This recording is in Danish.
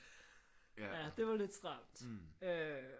Ja det var lidt stramt øh